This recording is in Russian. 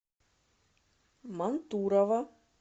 мантурово